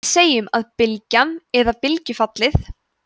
við segjum að bylgjan eða bylgjufallið